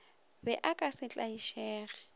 be o ka se tlaišege